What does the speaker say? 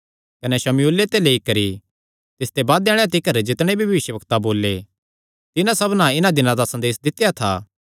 कने शमूएले ते लेई करी तिसते बादे आल़ेआं तिकर जितणे भी भविष्यवक्तां बोले तिन्हां सबना इन्हां दिनां दा संदेस दित्या था